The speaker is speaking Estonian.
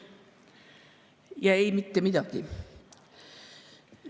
Ja ei, mitte midagi.